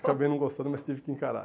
Acabei não gostando, mas tive que encarar.